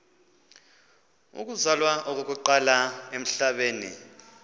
uzalwa okokuqala emhlabeni